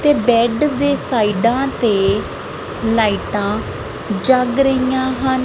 ਤੇ ਬੈਡ ਦੇ ਸਾਈਡਾਂ ਤੇ ਲਾਈਟਾਂ ਜਗ ਰਹੀਆਂ ਹਨ।